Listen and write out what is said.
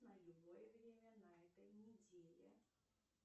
на любое время на этой неделе